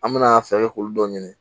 An mɛna fɛɛrɛ kɛ k'olu dɔ ɲini